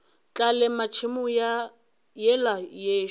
tla lema tšhemo yela yešo